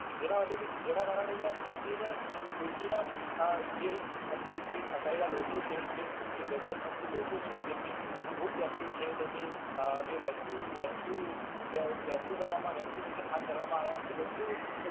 જેના વડે થી જેના કારણે આહ જે અંદર જે ફસાયેલા લોકો છે જે જરૂરિયાત લોકો છે જેમને તેમની જે પ્રાપ્તિ છે તેમની કરવામાં આવ્યા